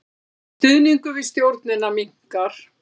Stuðningur við stjórnina minnkar